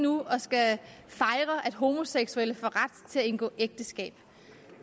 nu og skal fejre at homoseksuelle får ret til at indgå ægteskab